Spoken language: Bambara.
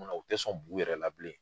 U tɛ sɔn bu yɛrɛ la bilen.